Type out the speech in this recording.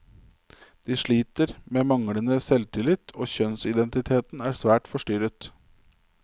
De sliter med manglende selvtillit, og kjønnsidentiteten er svært forstyrret.